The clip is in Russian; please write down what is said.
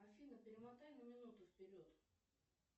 афина перемотай на минуту вперед